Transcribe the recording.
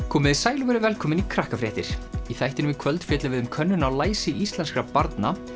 komiði sæl og verið velkomin í í þættinum í kvöld fjöllum við um könnun á læsi íslenskra barna